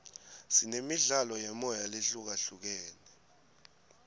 sinemidlalo yemoya lehlukahlukene